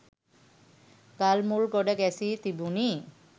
ගල් මුල් ගොඩ ගැසී තිබුණි.